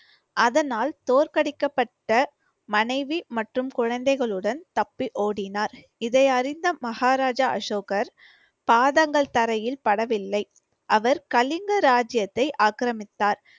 அதனால் தோற்கடிக்கப்பட்ட மனைவி மற்றும் குழந்தைகளுடன் தப்பி ஓடினார். இதை அறிந்த மகாராஜா அசோகர் பாதங்கள் தரையில் படவில்லை. அவர் கலிங்க ராஜ்ஜியத்தை ஆக்கிரமித்தார்.